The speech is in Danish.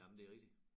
Jamen det rigtigt